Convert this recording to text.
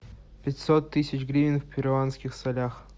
пятьсот тысяч гривен в перуанских солях